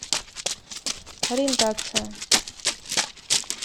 ориентация